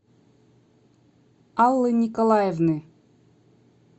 аллы николаевны